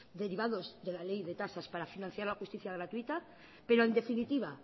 derivados de la ley de tasas para financiar la justicia gratuita pero en definitiva